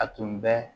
A tun bɛ